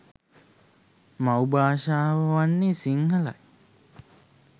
මව් භාෂාව වන්නේ සිංහලයි.